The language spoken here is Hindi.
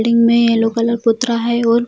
बिल्डिंग में येलो कलर पुत रहा है और --